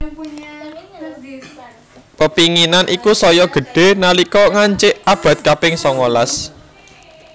Pepinginan iku saya gedhe nalika ngancik abad kaping songolas